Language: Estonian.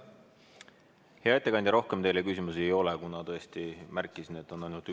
Hea ettekandja, rohkem teile küsimusi ei ole, kuna ma tõesti märkisin, et on ainult üks.